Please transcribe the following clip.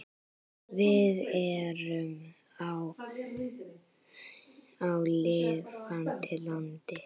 Við erum á lifandi landi.